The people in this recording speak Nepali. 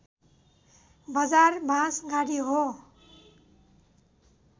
बजार बाँसगाढी हो